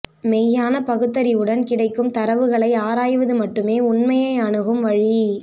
மெய்யான பகுத்தறிவுடன் கிடைக்கும் தரவுகளை ஆராய்வது மட்டுமே உண்மையை அணுகும் வழி